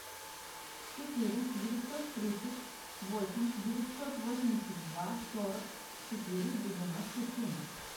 четыре девятьсот тридцать восемь девятьсот восемьдесят два сорок четыре девяносто семь